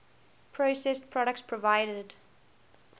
processed products provided